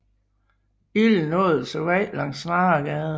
Ilden åd sig vej langs Snaregade